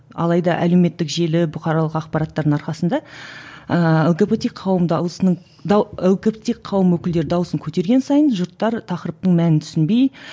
алайда әлеуметтік желі бұқаралық ақпараттардың арқасында ыыы лгбт қауым дауысының лгбт қауым өкілдері дауысын көтерген сайын жұрттар тақырыптың мәнін түсінбей